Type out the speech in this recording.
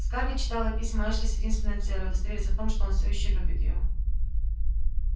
скарлетт читала письма эшли с единственной целью удостовериться в том что он все ещё любит её